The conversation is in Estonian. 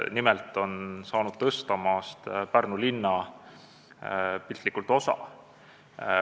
Nimelt on saanud Tõstamaast piltlikult öeldes Pärnu linna osa.